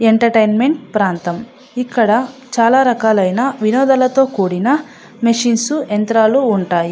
Entertainment ప్రాంతం ఇక్కడ చాలా రకాల ఆయన వినోదాలతో కూడిన మెషిన్స్ యంత్రాలు ఉంటాయి.